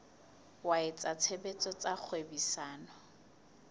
wa etsa tshebetso tsa kgwebisano